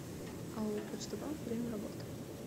ао почта банк время работы